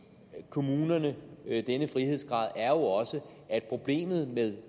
kommunerne denne frihedsgrad også er at problemet med